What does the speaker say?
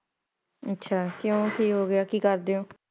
ਅੱਛ ਕਿਉ ਹੋ ਗਿਆ ਕੀ ਕਰਦੇ ਹੋ।